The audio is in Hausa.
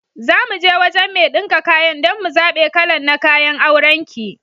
Zamuje wajan mai ɗinka kayan dan mu zaɓe kalan na kayan auran ki.